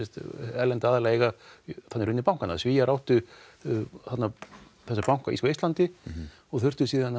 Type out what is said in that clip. erlenda aðila eiga í rauninni bankana Svíar áttu banka á Eistlandi og þurftu síðan